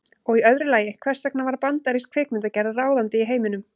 Og í öðru lagi, hvers vegna varð bandarísk kvikmyndagerð ráðandi í heiminum?